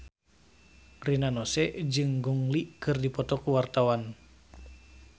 Rina Nose jeung Gong Li keur dipoto ku wartawan